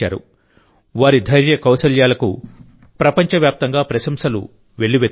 వారి ధైర్యకౌశల్యాలకు ప్రపంచ వ్యాప్తంగా ప్రశంసలు వెల్లువెత్తుతున్నాయి